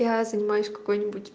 я занимаюсь какой-нибудь